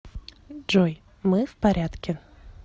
джой мы в порядке